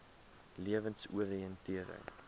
lewensoriëntering